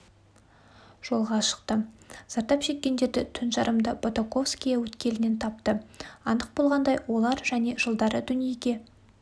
жолға шықты зардап шеккендерді түн жарымда бутаковское өткелінен тапты анық болғандай олар және жылдары дүниеге